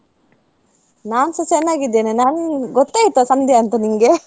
ನಾನ್ಸ ಚೆನ್ನಾಗಿದ್ದೇನೆ ನಾನ್ ಗೊತ್ತಾಯ್ತಾ ಸಂಧ್ಯಾ ಅಂತ ನಿಂಗೆ .